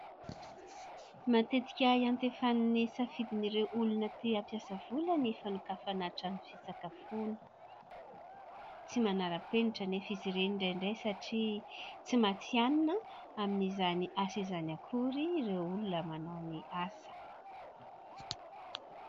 Matetika iantefan'ny safidin'ireo olona te-hampiasa vola ny fanokafana trano fisakafoana. Tsy manara-penitra anefa izy ireny indraindray, satria tsy matihanina amin'izany asa izany akory ireo olona manao ny asa.